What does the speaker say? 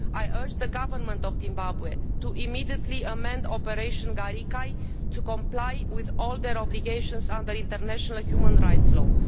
I urge the government of Zimbabwe to immediately amend Operation Garikai to comply with all obligations under international and human rights law.